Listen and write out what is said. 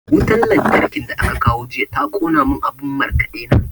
Wutan lantarkin da aka kawo jiya ta ƙona mun abun markaɗe na.